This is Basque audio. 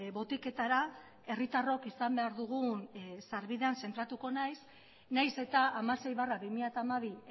botiketara herritarrok izan behar dugun sarbidean zentratuko naiz nahiz eta hamasei barra bi mila hamabi